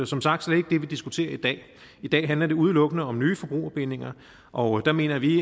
som sagt slet ikke det vi diskuterer i dag i dag handler det udelukkende om nye forbrugerbindinger og der mener vi